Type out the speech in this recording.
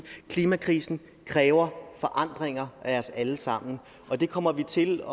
klimakrisen kræver forandringer af os alle sammen og vi kommer til